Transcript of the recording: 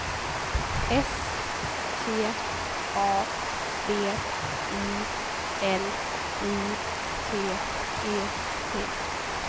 S T A B I L I T E T